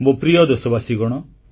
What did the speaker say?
ମୋ ପ୍ରିୟ ଦେଶବାସୀଗଣ